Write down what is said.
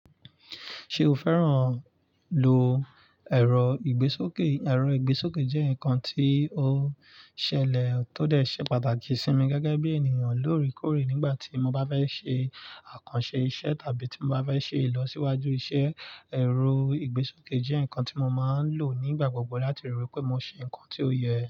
Ṣé o fẹ́ràn lò ẹ̀rọ ìgbésókè? Ẹ̀rọ ìgbésókè jẹ́ ǹkan tí ó ṣẹlẹ̀ tó dẹ̀ ṣe pàtàkì sí mi gẹ́gẹ́ bí ènìyàn lóre kórè nígbà tí mo bá fẹ́ ṣe àkànṣe iṣẹ́ tàbí tí mo bá fẹ́ ṣe ìlọsíwájú iṣẹ́. Ẹ̀rọ ìgbésókè jẹ́ ǹkan tí mo máa ń lò nígbà gbogbo láti rí i pé mo ṣe ǹkan tí ó yẹ.